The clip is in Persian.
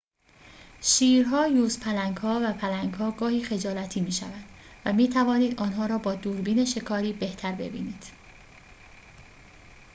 شیرها یوزپلنگ‌ها و پلنگ‌ها گاهی خجالتی می‌شوند و می‌توانید آنها را با دوربین شکاری بهتر ببینید